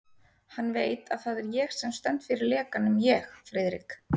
Hann veit, að það er ég sem stend fyrir lekanum ég, Friðrik